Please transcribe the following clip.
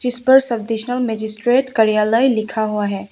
जिसपर subdivisional magistrate कार्यालय लिखा हुआ है।